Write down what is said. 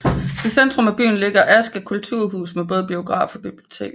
I centrum af byen ligger Asker Kulturhus med både biograf og bibliotek